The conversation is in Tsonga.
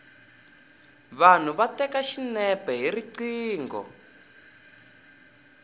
vanhu va teka xinepe hi riqingho